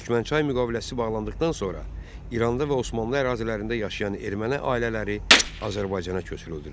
Türkmənçay müqaviləsi bağlandıqdan sonra İranda və Osmanlı ərazilərində yaşayan erməni ailələri Azərbaycana köçürüldülər.